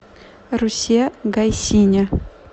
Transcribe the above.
русе гайсине